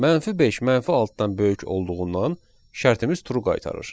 Mənfi 5 mənfi 6-dan böyük olduğundan şərtimiz true qaytarır.